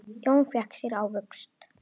Jón fékk sér ávöxt.